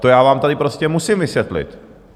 To já vám tady prostě musím vysvětlit.